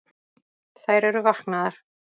Þær eru vaknaðar